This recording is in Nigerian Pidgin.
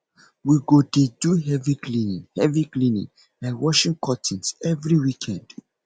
we go dey do heavy cleaning heavy cleaning like washing curtains every weekend